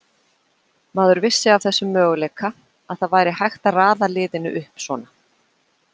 Maður vissi af þessum möguleika, að það væri hægt að raða liðinu upp svona.